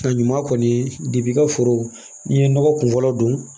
A ɲuman kɔni i ka foro n'i ye nɔgɔ kunfɔlɔ don